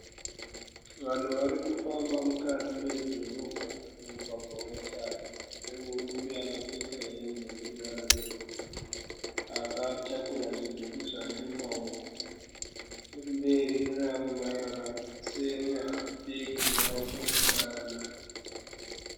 Vanhu vari kufamba mukati medhorobha mumugwagwa wetara. Pane murume akapfeka hembe yeruvara rwebhuru akatakura zvidhori zvake mumaoko. Nechomberi kune vamwe mai vakasenga bhegi ravo kumusana.